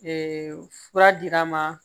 fura dir'an ma